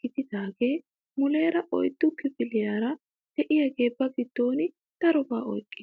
gididagee muleera oyddu kifiliyaara de'iyaage ba giddon darobaa oyqqees.